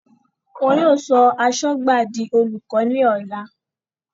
Wọ́n yóò sọ Asọ́gbàb di Olùkọ ní ọ̀la